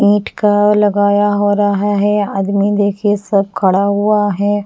ईंट का लगाया हो रहा है आदमी देखिए सब खड़ा हुआ है।